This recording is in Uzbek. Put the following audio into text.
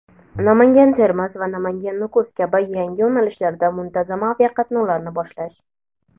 Namangan–Termiz va Namangan–Nukus kabi yangi yo‘nalishlarda muntazam aviaqatnovlarni boshlash;.